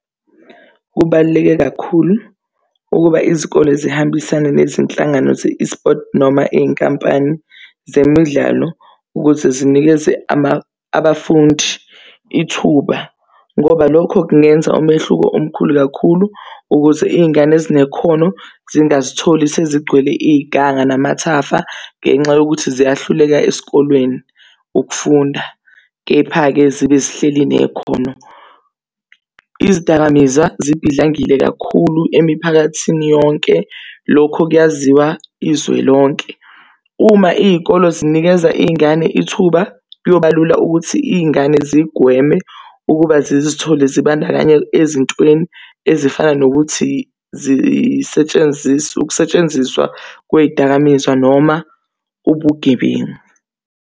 Kubaluleke kakhulu ukuba izikole zihambisane nezinhlangano ze-eSports noma iy'nkampani zemidlalo ukuthi zinikeze abafundi ithuba ngoba lokho kungenza umehluko omkhulu kakhulu ukuze iy'ngane ezinekhono zingazitholi sezigcwele iziganga namathafa, ngenxa yokuthi ziyahluleka esikolweni ukufunda, kepha-ke zibe zihleli nekhono. Izidakamizwa zibhidlangile kakhulu emiphakathini yonke lokho kuyaziwa izwe lonke. Uma iy'kolo zinikeza iy'ngane ithuba, kuyoba lula ukuthi iy'ngane zigweme ukuba zizithole zibandakanye ezintweni ezifana nokuthi ukusetshenziswa kwey'dakamizwa noma ubugebengu.